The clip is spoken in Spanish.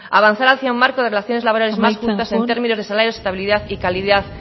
avanzar hacia un marco de relaciones laborales más justas en términos amaitzen joan de salarios estabilidad y calidad